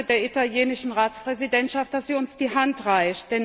Ich danke der italienischen Ratspräsidentschaft, dass sie uns die Hand reicht.